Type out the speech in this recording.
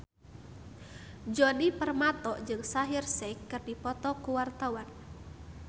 Djoni Permato jeung Shaheer Sheikh keur dipoto ku wartawan